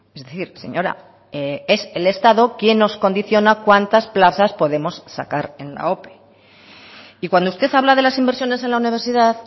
es decir señora es el estado quien nos condiciona cuántas plazas podemos sacar en la ope y cuando usted habla de las inversiones en la universidad